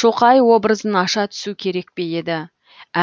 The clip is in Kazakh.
шоқай образын аша түсу керек пе еді